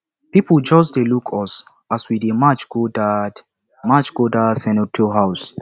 people just dey look us as we dey march go dat march go dat senator house